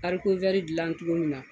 Harikivɛri dilan tulu min na.